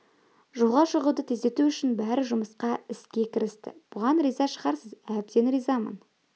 жолға шығуды тездету үшін бәрі жұмыла іске кірісті бұған риза шығарсыз әбден ризамын